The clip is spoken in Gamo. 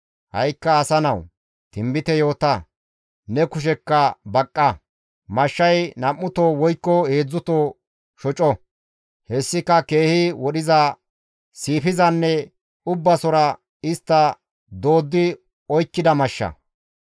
«Ha7ikka asa nawu! Tinbite yoota; ne kushekka baqqa. Mashshay nam7uto woykko heedzdzuto shoco; hessika keehi wodhiza, siifizanne ubbasora istta dooddi oykkida mashsha.